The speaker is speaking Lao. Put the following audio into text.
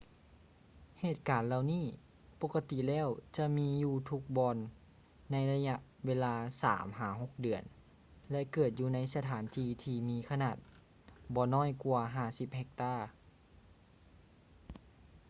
ເຫດການເຫຼົ່ານີ້ປົກກະຕິແລ້ວຈະມີຢູ່ທຸກບ່ອນໃນໄລຍະເວລາສາມຫາຫົກເດືອນ ແລະ ເກີດຢູ່ໃນສະຖານທີ່ທີ່ມີຂະໜາດບໍ່ນ້ອຍກວ່າ 50 ເຮັກຕາ